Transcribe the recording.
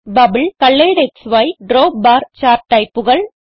bubble കൊളറെഡ്ക്സി drop bar chart ടൈപ്പുകൾ